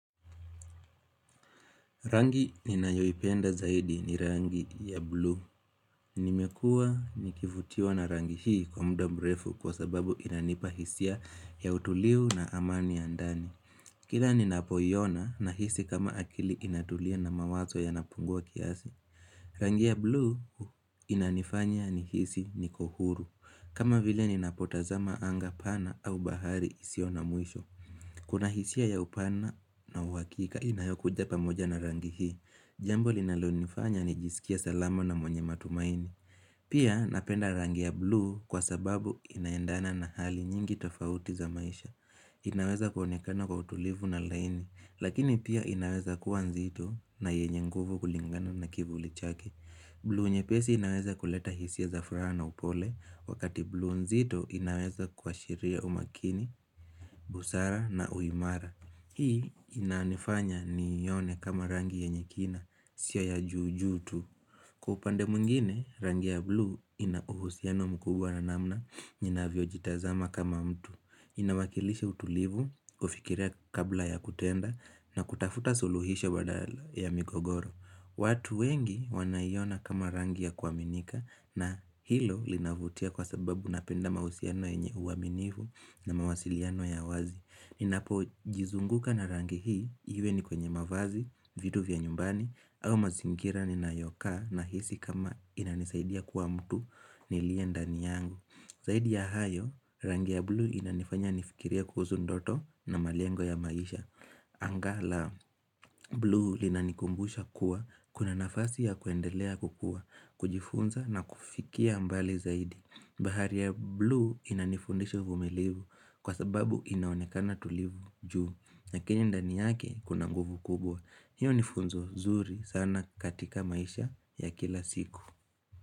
Rangi ninayoipenda zaidi ni rangi ya bluu. Nimekua nikivutiwa na rangi hii kwa muda mrefu kwa sababu inanipa hisia ya utuliu na amani ya ndani. Kila ninapoiona nahisi kama akili inatulia na mawazo yanapungua kiasi. Rangi ya bluu inanifanya nihisi niko huru. Kama vile ninapotazama angaa pana au bahari isio na mwisho. Kuna hisia ya upana na uhakika inayokuja pamoja na rangi hii. Jambo linalonifanya nijisikie salama na mwenye matumaini. Pia napenda rangi ya bluu kwa sababu inaendana na hali nyingi tofauti za maisha. Inaweza kuonekana kwa utulivu na laini, lakini pia inaweza kuwa nzito na yenye nguvu kulingana na kivuli chake. Bluu nyepesi inaweza kuleta hisia za furaha na upole, wakati blu nzito inaweza kuashiria umakini, busara na uimara. Hii inanifanya nione kama rangi yenye kina sio ya juu juu tu Kwa upande mwingine rangi ya bluu ina uhusiano mkubwa na namna ninavyojitazama kama mtu. Inawakilisha utulivu, kufikiria kabla ya kutenda na kutafuta suluhisho badala ya migogoro watu wengi wanaiona kama rangi ya kuaminika na hilo linavutia kwa sababu napenda mahusiano yenye uaminivu na mawasiliano ya wazi. Ninapojizunguka na rangi hii, iwe ni kwenye mavazi, vitu vya nyumbani, au mazingira ninayokaa nahisi kama inanisaidia kuwa mtu nilie ndani yangu Zaidi ya hayo, rangi ya blue inanifanya nifikirie kuhuzu ndoto na malengo ya maisha Angaa la bluu linanikumbusha kuwa, kuna nafasi ya kuendelea kukua, kujifunza na kufikia mbali zaidi. Bahari ya bluu inanifundisha uvumilivu kwa sababu inaonekana tulivu juu. Lakini ndani yake kuna nguvu kubwa. Hiyo nifunzo zuri sana katika maisha ya kila siku.